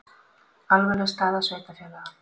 Alvarleg staða sveitarfélaga